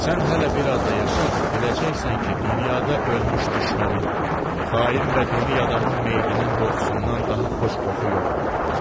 Sən hələ biraz da yaşa, biləcəksən ki, dünyada ölmüş düşmənin, xain və dönük adamın meyidinin qoxusundan daha xoş qoxu yoxdur.